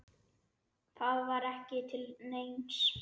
Það var ekki til neins.